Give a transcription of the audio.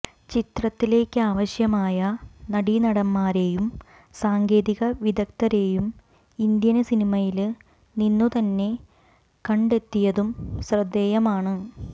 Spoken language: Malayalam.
ചിത്രത്തിലേക്കാവശ്യമായ നടീനടന്മാരെയും സാങ്കേതിക വിദഗ്ധരേയും ഇന്ത്യന് സിനിമയില് നിന്നുതന്നെ കണ് ടെത്തിയതും ശ്രദ്ധേയമാണ്